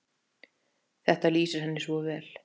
Þetta lýsir henni svo vel.